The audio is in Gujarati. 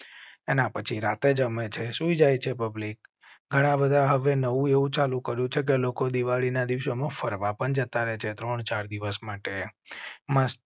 એના પછી રાતે જમે છે. સુઈ જાય છે. પબ્લિક ઘણા બધા હવે નવું ચાલુ કર્યું છે કે લોકો દિવાળી ના દિવસો માં ફરવા પણ જતા રહે છે. ત્રણ ચાર દિવસ માટે મસ્ત